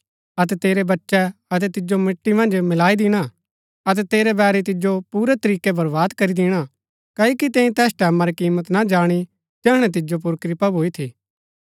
अतै तेरै बच्चै अतै तिजो मिट्टी मन्ज मिलाई दिणा अतै तेरै बैरी तिजो पूरै तरीकै बरबाद करी दिणा क्ओकि तैंई तैस टैमां री किमत ना जाणी जैहणै तिजो पुर कृपा भूई थी